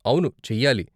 అవును, చెయ్యాలి.